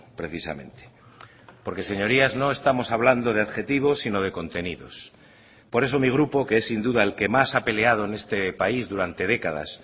precisamente porque señorías no estamos hablando de adjetivos sino de contenidos por eso mi grupo que es sin duda el que más ha peleado en este país durante décadas